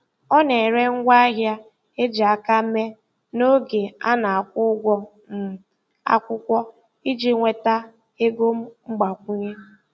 Ọ na-ere ngwaahịa e ji aka mee n'oge a na-akwụ ụgwọ um akwụkwọ iji nweta ego mgbakwunye.